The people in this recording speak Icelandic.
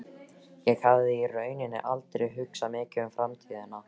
Ég hafði í rauninni aldrei hugsað mikið um framtíðina.